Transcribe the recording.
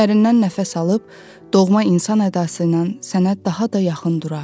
Dərindən nəfəs alıb, doğma insan ədası ilə sənə daha da yaxın durar.